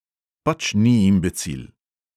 Pač ni imbecil.